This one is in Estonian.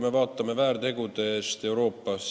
Vaatame väärteokaristusi Euroopas.